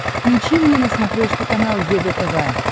включи мне на смотрешке канал егэ тв